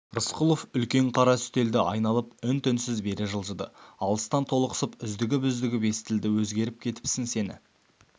рысқұлов үлкен қара үстелді айналып үн-түнсіз бері жылжыды алыстан толықсып үздігіп-үздігіп естілді өзгеріп кетіпсің сені